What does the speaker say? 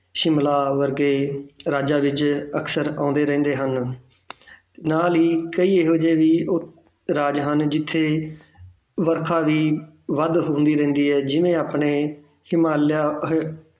ਸ਼ਿਮਲਾ ਵਰਗੇ ਰਾਜਾਂ ਵਿੱਚ ਅਕਸਰ ਆਉਂਦੇ ਰਹਿੰਦੇ ਹਨ ਨਾਲ ਹੀ ਕਈ ਇਹੋ ਜਿਹੇ ਵੀ ਰਾਜ ਹਨ ਜਿੱਥੇ ਵਰਖਾ ਵੀ ਵੱਧ ਹੁੰਦੀ ਰਹਿੰਦੀ ਹੈ ਜਿਵੇਂ ਆਪਣੇ ਹਿਮਾਲਿਆ ਅਹ